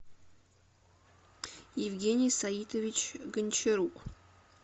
евгений саитович гончарук